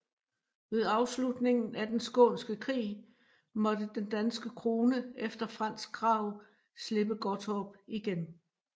Ved afslutningen af Den skånske Krig måtte den danske krone efter fransk krav slippe Gottorp igen